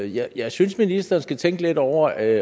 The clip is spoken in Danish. jeg jeg synes ministeren skal tænke lidt over at